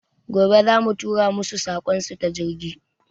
Gobe za mu tura masu saƙon su ta jirgi